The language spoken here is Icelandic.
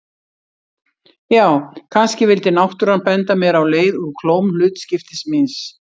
Já, kannski vildi náttúran benda mér á leið úr klóm hlutskiptis míns.